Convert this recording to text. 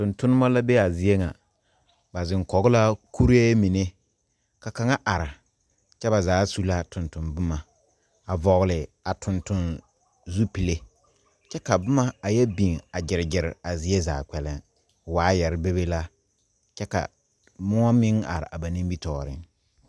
Tontonema la be a zie ŋa ba zeŋkoge la kuree mine ka kaŋa are kyɛ ba zaa su la tonton bomma a vɔgle a tontonzupille kyɛ ka bomma a yɛ biŋ a gyirgyire a zie zaa kpɛllɛŋ waayare bebe la kyɛ ka moɔ meŋ are a ba nimitooreŋ.